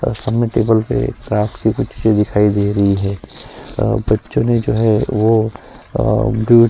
और सामने टेबल पर काफी बिखरी हुई दिखाई दे रही हैं और बच्चों ने जो हैं वो अ दु--